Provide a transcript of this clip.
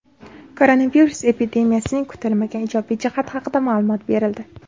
Koronavirus epidemiyasining kutilmagan ijobiy jihati haqida ma’lumot berildi.